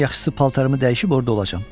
Ən yaxşısı paltarımı dəyişib orda olacam.